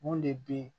Mun de bɛ ye